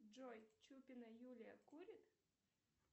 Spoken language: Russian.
джой чупина юлия курит